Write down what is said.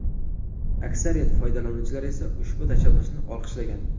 Aksariyat foydalanuvchilar esa ushbu tashabbusni olqishlagan.